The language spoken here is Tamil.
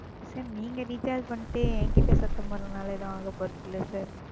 Sir நீங்க Recharge பண்ணிட்டு என்கிட்ட சத்தம் போடறதால எதுவும் ஆகப் போறதில்லை Sir,